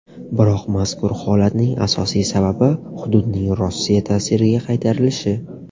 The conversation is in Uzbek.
Biroq, mazkur holatning asosiy sababi hududning Rossiya ta’siriga qaytarilishi.